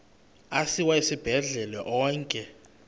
asiwa esibhedlele onke